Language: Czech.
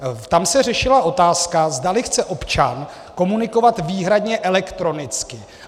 Tam se řešila otázka, zdali chce občan komunikovat výhradně elektronicky.